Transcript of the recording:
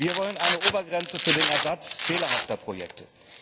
Wir wollen eine Obergrenze für den Ersatz fehlerhafter Projekte.